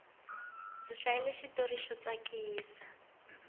ndzi hlayile xitori xo tsakisa